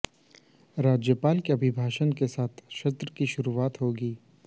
राज्यपाल के अभिभाषण के साथ सत्र की शुरुआत होगी